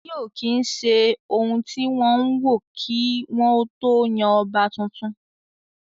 Ọjọ́-orí ò kí ń se ohun tí wọ́n ń wò kí wọ́n ó tó yan ọba tuntun